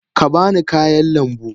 Ka ba ni kayan lambu.